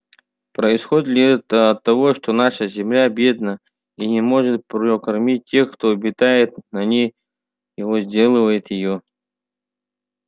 происходит ли это от того что наша земля бедна и не может прокормить тех кто обитает на ней и возделывает её